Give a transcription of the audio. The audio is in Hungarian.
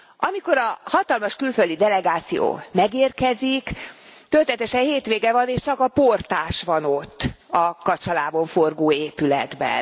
Amikor a hatalmas külföldi delegáció megérkezik, történetesen hétvége van és csak a portás van ott a kacsalábon forgó épületben.